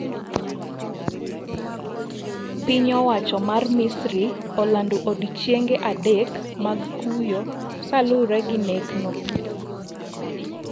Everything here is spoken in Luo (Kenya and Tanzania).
Piny owacho mar Misri olando odiechienge adek mag kuyo kalwuore gi nekno.